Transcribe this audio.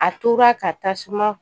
A tora ka tasuma